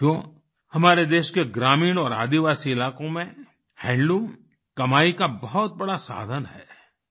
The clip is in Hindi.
साथियो हमारे देश के ग्रामीण और आदिवासी इलाकों में हैंडलूम कमाई का बहुत बड़ा साधन है